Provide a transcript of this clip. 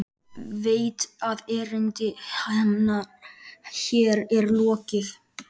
Veit að erindi hennar hér er lokið.